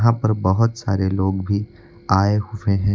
बहुत सारे लोग भी आए हुए हैं।